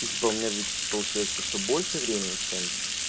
ну типа у меня ведь получается что больше времени чем